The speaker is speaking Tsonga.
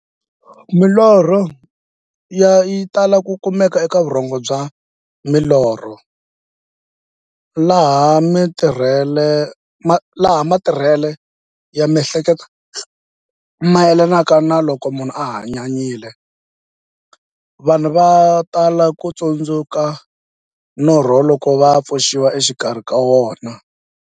Milorho yi tala ku kumeka eka vurhongo bya milorho, laha matirhele ya mi'hleketo mayelanaka na loko munhu a hanyanyile. Vanhu va tala ku tsundzuka norho loko va pfuxiwa exikarhi ka wona.